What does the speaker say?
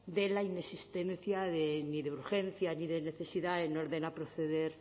de la inexistencia de ni de urgencia ni de necesidad en orden a proceder